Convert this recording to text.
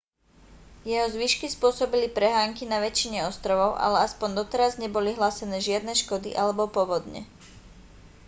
jeho zvyšky spôsobili prehánky na väčšine ostrovov ale aspoň doteraz neboli hlásené žiadne škody alebo povodne